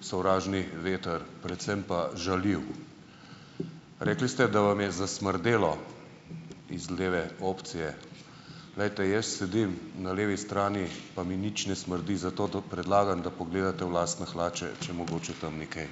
sovražni veter, predvsem pa žaljiv. Rekli ste, da vam je zasmrdelo z leve opcije. Glejte, jaz sedim na levi strani, pa mi nič ne smrdi, zato to predlagam, da pogledate v lastne hlače, če mogoče tam ni kaj.